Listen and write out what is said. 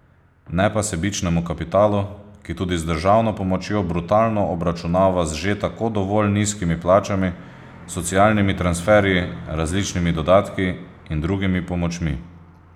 Ne pa sebičnemu kapitalu, ki tudi z državno pomočjo brutalno obračunava z že tako dovolj nizkimi plačami, socialnimi transferji, različnimi dodatki in drugimi pomočmi.